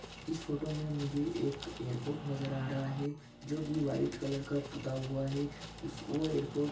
इस फोटो मे मुझे एक एयरपोर्ट नजर आ रहा है जोकि व्हाइट कलर का पुता हुआ है उस वो एयरपोर्ट --